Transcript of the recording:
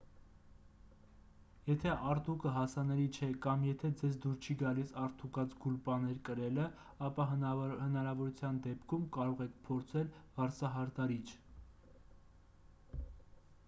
եթե արդուկը հասանելի չէ կամ եթե ձեզ դուր չի գալիս արդուկած գուլպաներ կրելը ապա հնարավորության դեպքում կարող եք փորձել վարսահարդարիչ